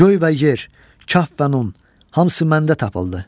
Göy və yer, kaf və nun, hamısı məndə tapıldı.